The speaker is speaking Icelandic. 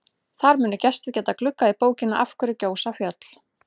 Þar munu gestir geta gluggað í bókina Af hverju gjósa fjöll?